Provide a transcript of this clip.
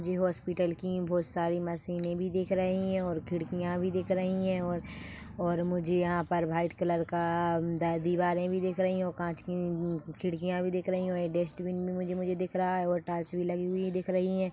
जे hospital की बहोत सारी मशीने भी दिख रही है और खिड़किया भी दिख रही है और और मुझे यहाँ पे वाइट कलर का द दीवारे भी दिख रही है और कांच की अम्म इ खिड़किया भी दिख रही है और ये डस्टबिन भी मुझे मुझे दिख रहा है और टाइल्स भी लगी हुई मुझे दिख रही है।